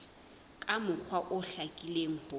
ka mokgwa o hlakileng ho